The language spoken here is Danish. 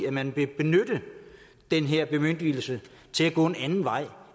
at man vil benytte den her bemyndigelse til at gå en anden vej